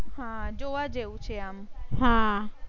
હા જોવા જેવું છે આમ.